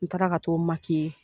N taara ka t'o